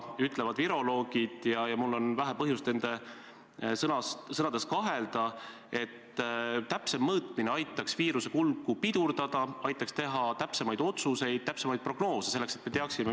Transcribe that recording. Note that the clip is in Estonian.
Palun!